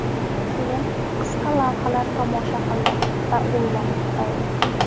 Keyin qisqa lavhalar tomosha qildim va o‘ylanib qoldim.